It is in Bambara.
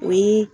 O ye